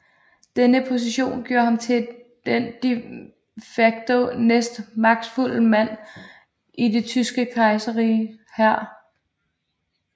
Denne position gjorde ham til den de facto næstmagtfuldeste mand i Det Tyske Kejserriges hær